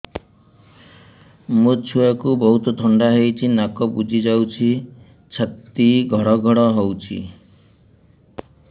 ମୋ ଛୁଆକୁ ବହୁତ ଥଣ୍ଡା ହେଇଚି ନାକ ବୁଜି ଯାଉଛି ଛାତି ଘଡ ଘଡ ହଉଚି